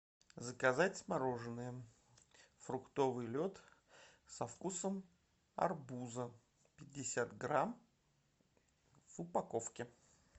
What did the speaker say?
заказать мороженое фруктовый лед со вкусом арбуза пятьдесят грамм в упаковке